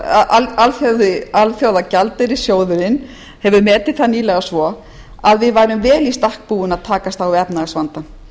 að alþjóðagjaldeyrissjóðurinn hefur metið það nýlega svo að við værum vel í stakk búin að takast á við efnahagsvandann